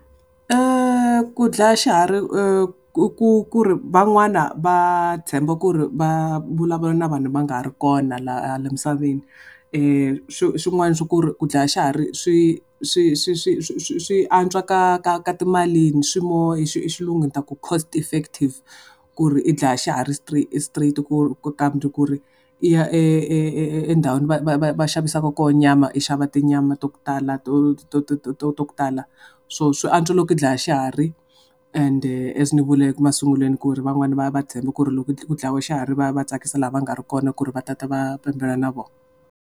Ku dlaya xihari ku ku ri van'wana va tshemba ku ri va vulavula na vanhu va nga ha ri kona laha misaveni. Swin'wana swa ku ri ku dlaya xihari swi swi swi swi antswa ka ka ka timalini, swi more hi xilungu ni ta ku cost effective ku ri i dlaya xihari straight ku ri i ya e e e endhawini va xavisaka kona nyama i xava tinyama ta ku tala to to to ku tala. So swi antswa loko u dlaya xihari, ende as ni vuleke masungulweni ku ri van'wana va tshembe ku ri loko ku dlayiwe xihari va tsakisa lava nga ri ki kona ku ri va ta ta va na vona.